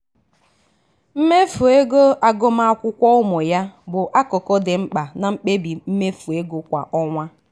mmefu ego agụmakwụkwọ ụmụ ya bụ akụkụ dị mkpa na mkpebi mmefu ego kwa ọnwa.